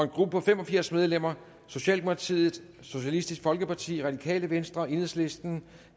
gruppe på fem og firs medlemmer socialdemokratiet socialistisk folkeparti radikale venstre enhedslisten